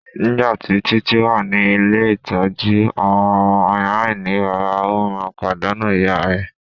Nigbati Titi wa ni ile-itọju awọn ọmọ alainibaba o maa n padanu iya rẹ